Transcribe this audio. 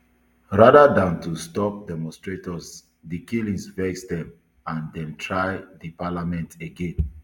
rather dan to stop demonstrators di killings vex dem and dem try di parliament again